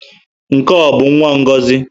Nke ọ bụ nwa Ngozi?